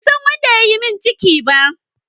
Ban san wanda ya yi min ciki ba.